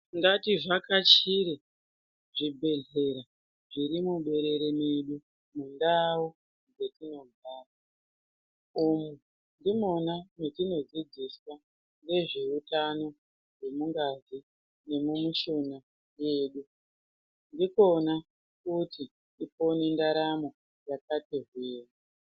Ngativhakachire zvibhedhleya zviri muberere mwedu mundau yatinogara umu ndimwona mwatinodzidziswa ngezveutano hwemungazi nemumishuna mwedu ndikwona futi kwopone ndaramo yakati hwee.